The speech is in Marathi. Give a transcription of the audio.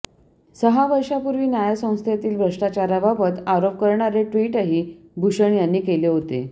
सहा वर्षांपूर्वी न्यायसंस्थेतील भ्रष्ठाचाराबाबत आरोप करणारे ट्विटही भूषण यांनी केले होते